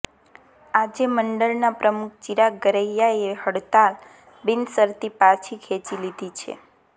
આજે મંડળના પ્રમુખ ચીરાગ ગરૈયાએ હડતાળ બિનશરતી પાછી ખેંચી લીધી છે